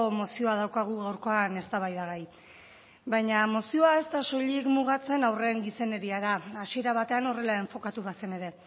mozioa daukagu gaurkoa eztabaidagai baina mozioa ez da soilik mugatzen haurren gizeneriara hasiera batean horrela enfokatu bazen ere